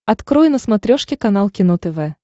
открой на смотрешке канал кино тв